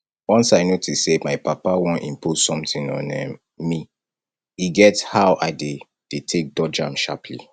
once i notice say my papa wan impose something on um me e get how i dey dey take dodge am sharpaly